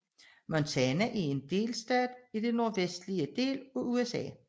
Montana er en delstat i den nordvestlige del af USA